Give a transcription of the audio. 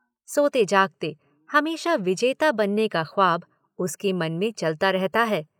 सोते- जागते हमेशा विजेता बनने का ख्वाब उसके मन में चलता रहता है।